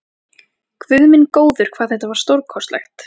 Guð minn góður, hvað það var stórkostlegt!